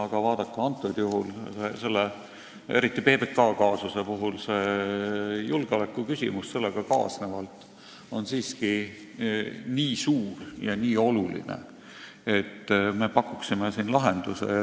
Aga vaadake, praegusel juhul, eriti PBK kaasuse puhul on julgeolekuküsimus sellega kaasnevalt siiski nii suur, et me pakuksime siin lahenduse.